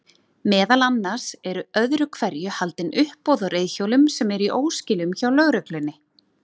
Meðal annars eru öðru hverju haldin uppboð á reiðhjólum sem eru í óskilum hjá lögreglunni.